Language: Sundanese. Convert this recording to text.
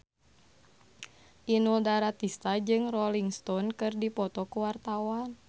Inul Daratista jeung Rolling Stone keur dipoto ku wartawan